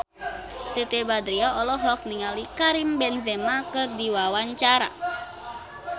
Siti Badriah olohok ningali Karim Benzema keur diwawancara